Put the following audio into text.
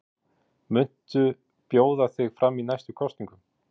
Hersir: Muntu bjóða þig fram í næstu kosningum?